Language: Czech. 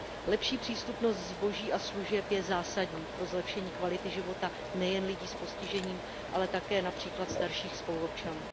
Lepší přístupnost zboží a služeb je zásadní pro zlepšení kvality života nejen lidí s postižením, ale také například starších spoluobčanů.